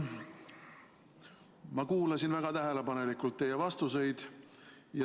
Ma kuulasin väga tähelepanelikult teie vastuseid.